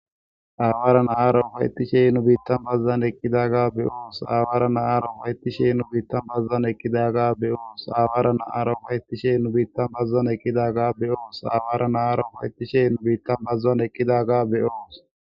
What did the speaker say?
aawaaran aaro waytti sheyn nu biitta bazzan eqkidaga beyoos awaarana aaro haytti sheyn nu biitta bazzan ekkidaga beyoos awaarana aaro waytti shey nu biitta bazzan ekidaga beyoos aawaarana aaro waytti sheyn nu biitta bazuan eqkidaga beyoos